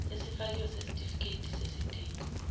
esifakiwe sesitifiketi sesidingo